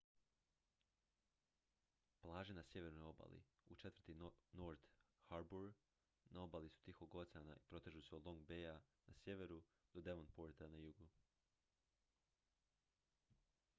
plaže na sjevernoj obali u četvrti north harbour na obali su tihog oceana i protežu se od long baya na sjeveru do devonporta na jugu